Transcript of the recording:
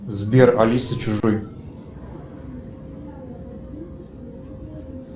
сбер алиса чужой